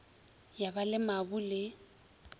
ya ba le mabu le